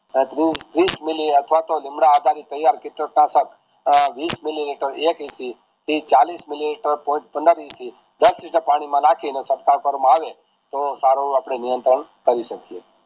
ત્રીસ મીલી અથવા તો લીંડા આધારિત ટાયર વિસ મીલીલીટર થી ચાલીસ મિલી લિટર point દસ લિટર પાણી માં નાખીને કરવામાં આવે તોહ સારું આપડે નિયંત્રણ થાયી સકે